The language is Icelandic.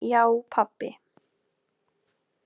Já pabbi.